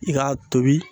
I k'a tobi